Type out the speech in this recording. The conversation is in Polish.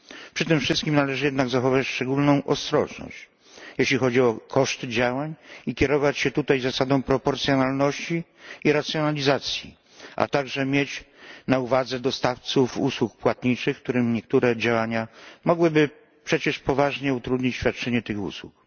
Przy tym wszystkim należy jednak zachować szczególną ostrożność, jeśli chodzi o koszty działań, i kierować się zasadą proporcjonalności i racjonalizacji, a także mieć na uwadze dostawców usług płatniczych, którym niektóre działania mogłyby przecież poważnie utrudnić świadczenie tych usług.